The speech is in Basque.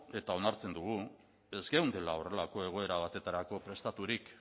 eta onartzen dugu ez geundela horrelako egoera baterako prestaturik